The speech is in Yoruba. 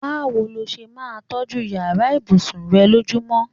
Báwo ló s̩e máa ń tó̩jú yàrá ìbùsùn re̩ lójúmo̩?